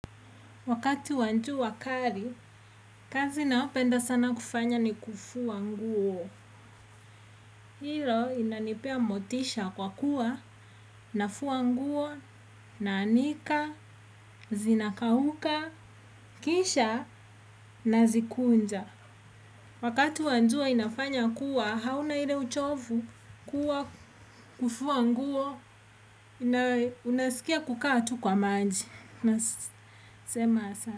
Wakati wa njua kari, kazi naopenda sana kufanya ni kufuwa nguo. Hilo inanipea motisha kwa kuwa, nafua nguo, naanika, zinakauka, kisha, nazikunja. Wakati wa njua inafanya kuwa, hauna ile uchovu kuwa kufuwa nguo, na unaskia kukaa tu kwa manji. Nasema asa.